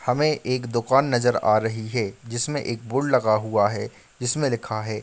हमें एक दुकान नजर आ रही है जीस मे एक बोर्ड लगा हुआ है । जिसमे लिखा है --